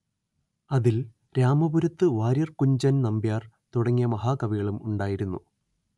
അതിൽ രാമപുരത്തു വാര്യർ കുഞ്ചൻ നമ്പ്യാർ തുടങ്ങിയ മഹാകവികളും ഉണ്ടായിരുന്നു